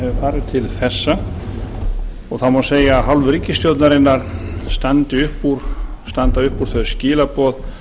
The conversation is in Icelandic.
hefur farið til þessa og það má segja að af hálfu ríkisstjórnarinnar standa upp úr þau skilaboð